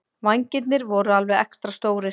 Vængirnir voru alveg extra stórir.